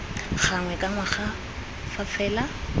gangwe ka ngwaga fa fela